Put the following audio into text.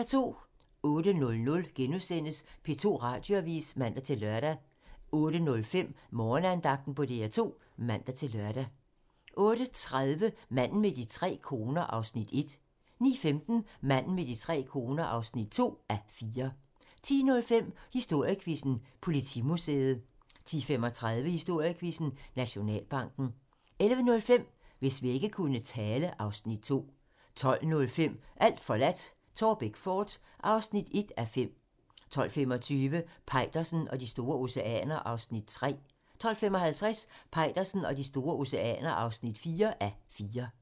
08:00: P2 Radioavis *(man-lør) 08:05: Morgenandagten på DR2 (man-lør) 08:30: Manden med de tre koner (1:4) 09:15: Manden med de tre koner (2:4) 10:05: Historiequizzen: Politimuseet 10:35: Historiequizzen: Nationalbanken 11:05: Hvis vægge kunne tale (Afs. 2) 12:05: Alt forladt - Taarbæk fort (1:5) 12:25: Peitersen og de store oceaner (3:4) 12:55: Peitersen og de store oceaner (4:4)